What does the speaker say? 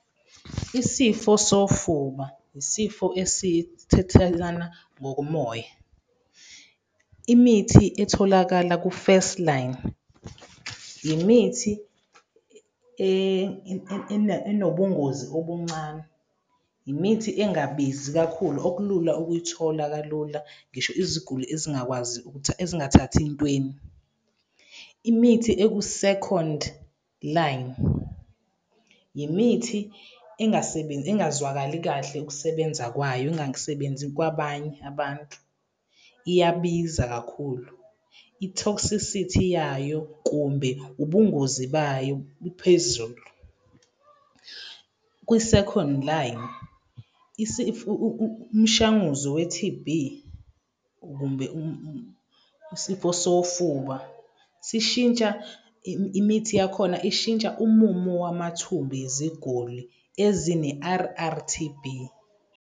Isifo sofuba isifo ngokomoya, imithi etholakala ku-first line, imithi enobungozi obuncane, imithi engabizi kakhulu, okulula ukuyithola kalula, ngisho iziguli ezingakwazi ukuthi, ezingathathi ey'ntweni. Imithi eku-second line, imithi engazwakali kahle ukusebenza kwayo, engasebenzi kwabanye abantu, iyabiza kakhulu. I-toxicity yayo kumbe, ubungozi bayo buphezulu. Kwi-second line umshanguzo we-T_B usifo sofuba sishintsha imithi yakhona ishintsha umumo wamathumba eziguli ezine-R_R_T_B.